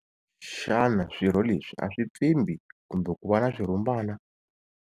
Xana swirho leswi a swi pfimbi kumbe ku va na swirhumbana?